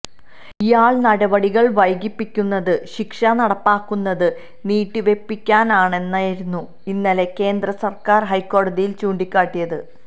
ഇയാള് നടപടികള് വൈകിപ്പിക്കുന്നത് ശിക്ഷ നടപ്പാക്കുന്നത് നീട്ടിവയ്പ്പിക്കാനാണെന്നായിരുന്നു ഇന്നലെ കേന്ദ്രസര്ക്കാര് ഹൈക്കോടതിയില് ചൂണ്ടിക്കാട്ടിയത്